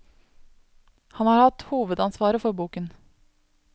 Han har hatt hovedansvaret for boken.